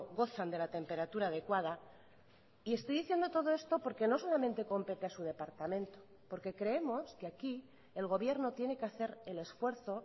gozan de la temperatura adecuada y estoy diciendo todo esto porque no solamente compete a su departamento porque creemos que aquí el gobierno tiene que hacer el esfuerzo